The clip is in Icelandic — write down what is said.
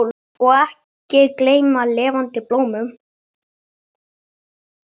Og ekki gleyma lifandi blómum!